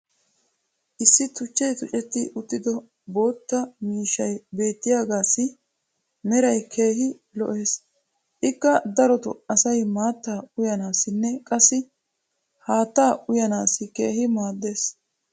issi tuchchay tuccetti uttido bootta miishshay beettiyaagaassi meray keehi lo'ees. ikka darotoo asay maattaa uyyanaassinne qassi haattaa uyyanaassi keehi maaadees.